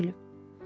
Mən nə bilim?